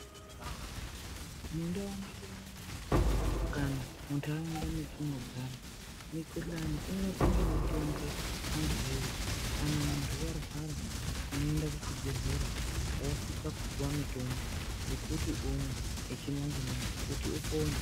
Mundau medu kana muntaraunda mwetinogara mikhuhlani inorapwa ngemitombo antu wee. Kana muntu warwara unonenda kuchibhedhlera wosisa kupiwa mitombo yekuti umwe yechimanje manje kuti upone.